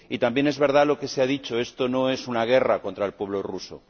Y también es verdad lo que se ha dicho esto no es una guerra contra el pueblo ruso.